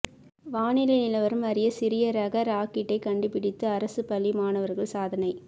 வானிலை நிலவரம் அறிய சிறிய ரக ராக்கெட்டை கண்டுபிடித்து அரசுப் பள்ளி மாணவா்கள் சாதனை